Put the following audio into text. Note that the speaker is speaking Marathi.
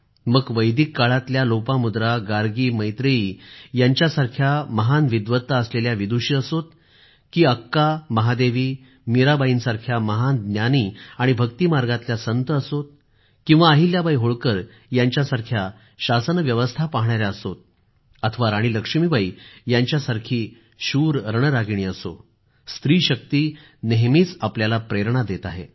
मग वैदिक काळातल्या लोपामुद्रा गार्गी मैत्रेयी यांच्या सारख्या महान विद्वत्ता असलेल्या विदुषी असो की अक्का महादेवी आणि मीराबाईसारख्या महान ज्ञानी आणि भक्ती मार्गातल्या संत असो किंवा अहिल्याबाई होळकर यांच्यासारख्या शासन व्यवस्था पाहणाऱ्या असो अथवा राणी लक्ष्मीबाई यांच्यासारखी शूर रणरागिणी असो स्त्री शक्ती नेहमीच आपल्याला प्रेरणा देत आहे